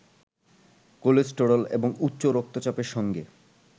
cholesterol এবং উচ্চ রক্তচাপের সঙ্গে